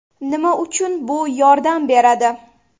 Nima uchun bu yordam beradi?